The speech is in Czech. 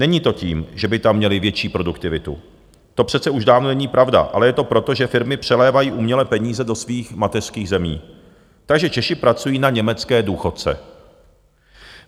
Není to tím, že by tam měli větší produktivitu, to přece už dávno není pravda, ale je to proto, že firmy přelévají uměle peníze do svých mateřských zemí, takže Češi pracují na německé důchodce.